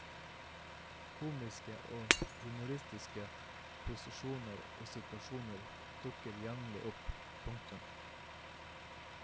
Komiske og humoristiske posisjoner og situasjoner dukker jevnlig opp. punktum